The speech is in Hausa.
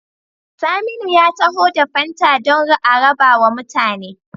Saminu ya taho da fanta dan a rabawa mutane